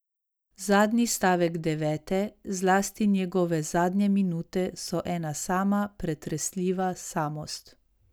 Zadnji stavek Devete, zlasti njegove zadnje minute, so ena sama pretresljiva samost.